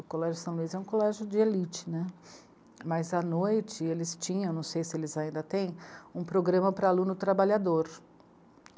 O Colégio São Luís é um colégio de elite, né, mas à noite eles tinham, não sei se eles ainda têm, um programa para aluno trabalhador.